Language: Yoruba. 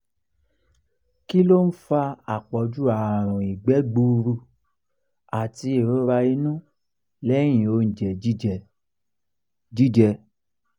kí ló ń fa àpọ̀ju àrùn ìgbẹ́ gburú àti ìrora inú lẹ́yìn oúnjẹ jíjẹ? jíjẹ?